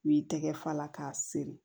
U b'i tɛgɛ fa la k'a siri